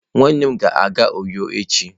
Nwannem ga-aga uyo echi.